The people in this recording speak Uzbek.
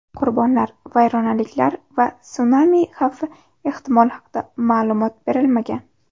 Qurbonlar, vayronaliklar va sunami xavfi ehtimoli haqida ma’lumot berilmagan.